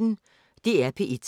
DR P1